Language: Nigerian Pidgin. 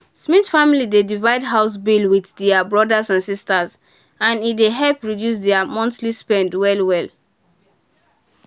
smith family dey divide house bills with their brothers and sisters and e help reduce their monthly spend well.well